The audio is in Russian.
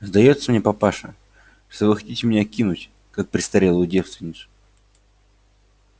сдаётся мне папаша что вы хотите меня кинуть как престарелую девственницу